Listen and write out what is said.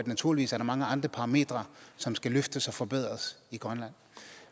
naturligvis er mange andre parametre som skal løftes og forbedres i grønland